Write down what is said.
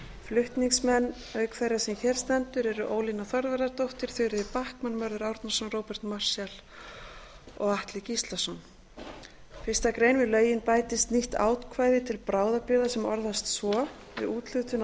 flutningsmenn auk þeirrar sem hér stendur eru ólína þorvarðardóttir þuríður backman mörður árnason róbert marshall og atli gíslason fyrstu grein við lögin bætist nýtt ákvæði til bráðabirgða sem orðast svo við úthlutun á